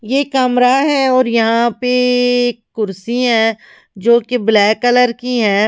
ये कमरा है और यहां पे कुर्सी हैजो कि ब्लैक कलर की है।